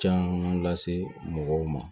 Caman lase mɔgɔw ma